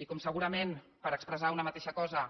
i com segurament per expressar una mateixa cosa